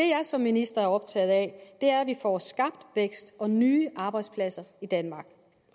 jeg som minister er optaget af er at vi får skabt vækst og nye arbejdspladser i danmark